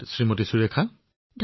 ধন্যবাদ সুৰেখা জী